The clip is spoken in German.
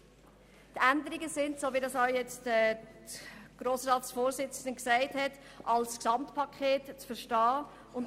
Die Änderung, welche diverse Artikel einschliesst, ist als Gesamtpaket zu verstehen, weil diese zusammengehören.